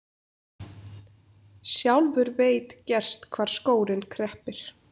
Sjálfur veit gerst hvar skórinn kreppir.